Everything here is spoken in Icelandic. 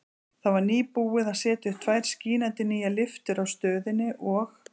Það var nýbúið að setja upp tvær skínandi nýjar lyftur á stöðinni og